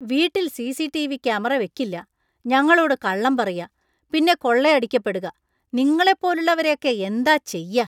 വീട്ടിൽ CCTV. Camera വയ്ക്കില്ല ,ഞങ്ങളോട് കള്ളം പറയാ പിന്നെ കൊള്ളയടിക്കപ്പെടുക, നിങ്ങളെപ്പോലുള്ളവരെയൊക്കെ എന്താ ചെയ്യാ?